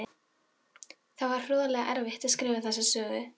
Það var hroðalega erfitt að skrifa þessa sögu.